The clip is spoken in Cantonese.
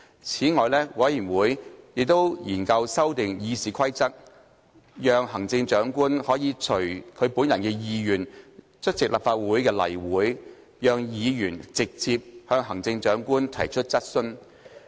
此外，委員會亦研究修訂《議事規則》，讓行政長官可以隨其本人意願出席立法會例會，讓議員直接向行政長官提出質詢。